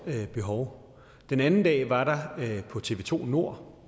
behov den anden dag var der på tv to nord